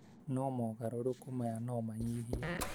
no mogarũrũku maya no manyihie